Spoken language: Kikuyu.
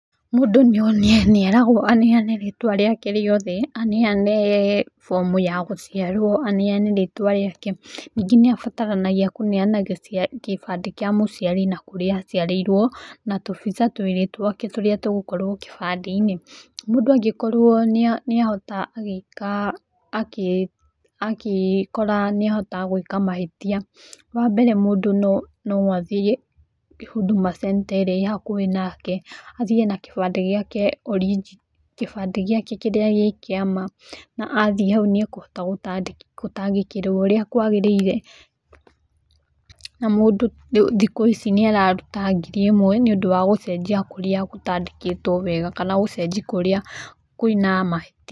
Mũndũ nĩeragwo aneyane rĩtwa rĩake rĩothe anenyane bomu yake ya gũciarwo aneyane rĩtwa rĩake, ningĩ nĩabataranagia kũneana kĩbandĩ kia mũciari na kũrĩa aciarĩirwo, na tũbica twake twĩrĩ tũrĩa tũgũkorwo kĩbandĩinĩ. Mũndũ angĩkora nĩahota gwĩka mahĩtia, wambere mũndũ no athie Huduma Centre irĩa ĩ hakuhĩ nake na athie na gĩbandĩ gĩake kĩrĩa kĩrĩ kĩama na athie hau nĩakũhota gũtangĩkĩrwo ũrĩa kwagĩrĩire. Na mũndũ thikũ ici nĩararuta ngiri ĩmwe, gũcenjia kũrĩa gũtandĩkĩtwo wega na kũrĩa kwĩna mahĩtia.